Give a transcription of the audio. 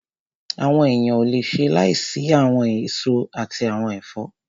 Àwọn èèyàn ò le ṣe láìsí àwọn èso àti àwọn ẹ̀fọ́